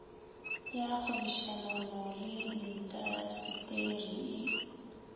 ya kgwebišanono le diintaseteri e